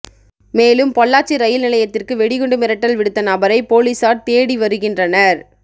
மேலும் பொள்ளாச்சி ரயில் நிலையத்திற்கு வெடிகுண்டு மிரட்டல் விடுத்த நபரை போலீசார் தேடி வருகின்றனர்